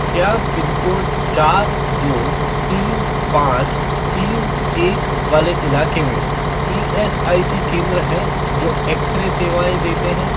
क्या पिनकोड चार दो तीन पाँच तीन एक वाले इलाके में ईएसआईसी केंद्र हैं जो एक्स रे सेवाएँ देते हैं?